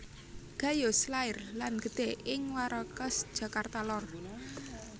Gayus lair lan gedhe ing Warakas Jakarta lor